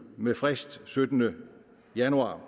med frist syttende januar